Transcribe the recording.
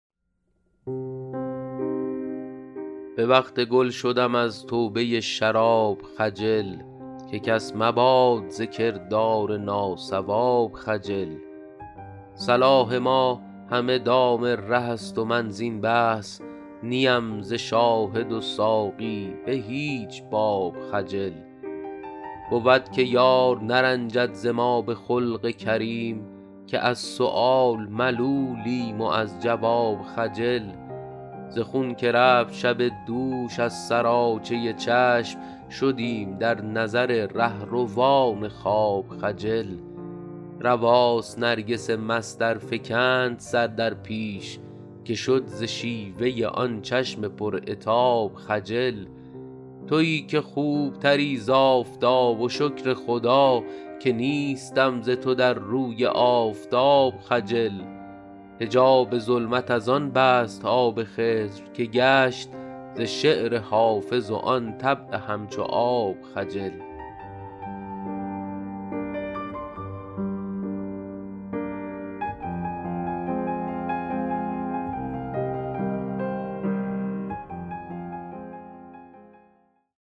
به وقت گل شدم از توبه شراب خجل که کس مباد ز کردار ناصواب خجل صلاح ما همه دام ره است و من زین بحث نی ام ز شاهد و ساقی به هیچ باب خجل بود که یار نرنجد ز ما به خلق کریم که از سؤال ملولیم و از جواب خجل ز خون که رفت شب دوش از سراچه چشم شدیم در نظر رهروان خواب خجل رواست نرگس مست ار فکند سر در پیش که شد ز شیوه آن چشم پر عتاب خجل تویی که خوب تری ز آفتاب و شکر خدا که نیستم ز تو در روی آفتاب خجل حجاب ظلمت از آن بست آب خضر که گشت ز شعر حافظ و آن طبع همچو آب خجل